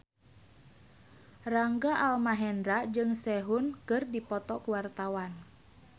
Rangga Almahendra jeung Sehun keur dipoto ku wartawan